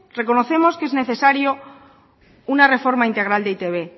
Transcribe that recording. reconocemos que es necesario una reforma integral de e i te be